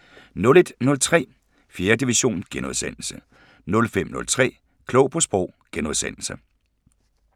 01:03: 4. division * 05:03: Klog på Sprog *